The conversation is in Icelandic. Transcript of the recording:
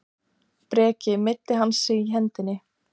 Breki: Meiddi hann sig í hendinni?